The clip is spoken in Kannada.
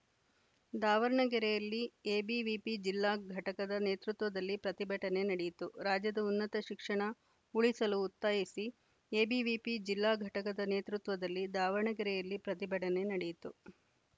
ದಾವಣಗೆರೆಯಲ್ಲಿ ಎಬಿವಿಪಿ ಜಿಲ್ಲಾ ಘಟಕದ ನೇತೃತ್ವದಲ್ಲಿ ಪ್ರತಿಭಟನೆ ನಡೆಯಿತು ರಾಜ್ಯದ ಉನ್ನತ ಶಿಕ್ಷಣ ಉಳಿಸಲು ಒತ್ತಾಯಿಸಿ ಎಬಿವಿಪಿ ಜಿಲ್ಲಾ ಘಟಕದ ನೇತೃತ್ವದಲ್ಲಿ ದಾವಣಗೆರೆಯಲ್ಲಿ ಪ್ರತಿಭಟನೆ ನಡೆಯಿತು